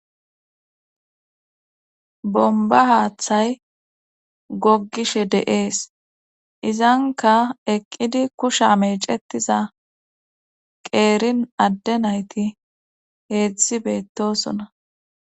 Bomba haaththay goggishe deees izanka eqqidi kusha meecetiza qeerin adde nayti heedzdzi beettosona